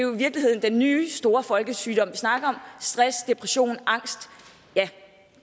virkeligheden den nye store folkesygdom vi snakker om stress depression angst ja